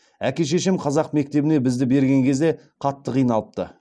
әке шешем қазақ мектебіне бізді берген кезде қатты қиналыпты